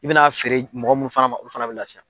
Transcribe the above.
I bɛna feere mɔgɔ minnu fana ma olu fana bɛ lafiya.